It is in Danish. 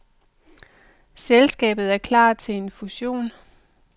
Selskabet er klar til en fussion.